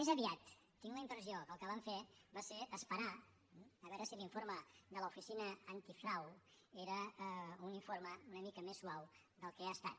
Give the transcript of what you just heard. més aviat tinc la impressió que el que van fer va ser esperar a veure si l’informe de l’oficina antifrau era un informe una mica més suau del que ha estat